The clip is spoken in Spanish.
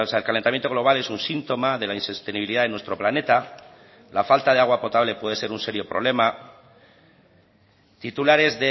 el calentamiento global es un síntoma de la insostenibilidad de nuestro planeta la falta de agua potable puede ser un serio problema titulares